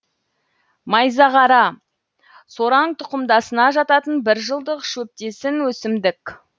майзағара сораң тұқымдасына жататын бір жылдық шөптесін өсімдік